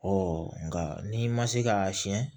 nka n'i ma se k'a siyɛn